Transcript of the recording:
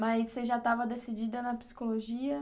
Mas você já estava decidida na psicologia?